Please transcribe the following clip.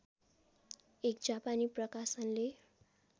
एक जापानी प्रकाशनले